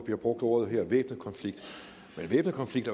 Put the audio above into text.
her brugt ordet væbnet konflikt men væbnet konflikt